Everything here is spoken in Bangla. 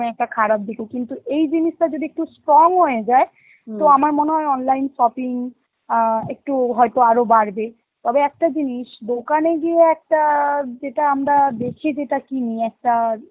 একটা খারাপ দিকও কিন্তু, এই জিনিসটা যদি একটু strong হয়ে যায় তো আমার মনে হয় online shopping আ একটু হয়তো আরো বাড়বে, তবে একটা জিনিস দোকানে গিয়ে একটা যেটা আমরা দেখে যেটা কিনি একটা